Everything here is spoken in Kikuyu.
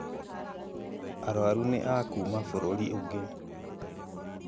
aruaru ni akũma bũrũri ungĩ